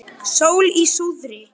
Sól í suðri.